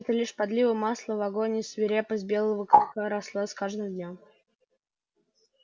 это лишь подлило масла в огонь и свирепость белого клыка росла с каждым днём